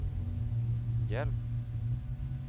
hjelp